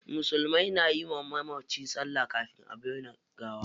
Musulmai na yi wa mamaci salla kafin a binne gawa.